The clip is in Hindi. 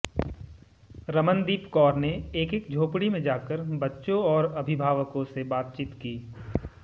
रमनदीप कौर ने एक एक झोपड़ी में जाकर बच्चों और उनके अभिभावकों से बातचीत की